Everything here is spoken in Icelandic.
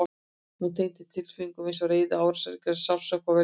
Hún tengist tilfinningum eins og reiði, árásargirni, sársauka og vellíðan.